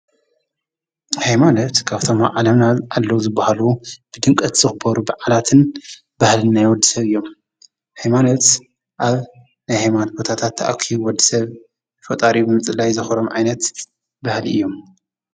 ሃይማኖት ካብቶም ኣብ ዓለምና ኣለዉ ዝብሃሉ ብድምቀት ዝክበሩ በዓላትን ባህልን ናይ ወዲሰብ እዮም ፤ሃይማኖት ኣብ ናይ ሃይማኖት ቦታታት ተኣኪቡ ውዲሰብ ፈጣሪኡ ብምጽላይ ዘክብሮም ዓይነት ባህሊ እዩ።